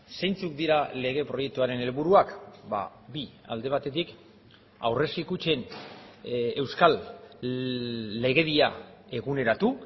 zeintzuk dira lege proiektuaren helburuak bi alde batetik aurrezki kutxen euskal legedia eguneratu